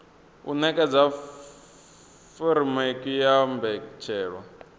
u nekedza furemiweke ya mbetshelwa